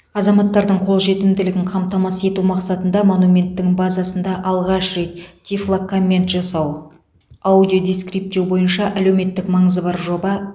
азаматтардың қолжетімділігін қамтамасыз ету мақсатында монументтің базасында алғаш рет тифлокоммент жасау аудиодескриптеу бойынша әлеуметтік маңызы бар жоба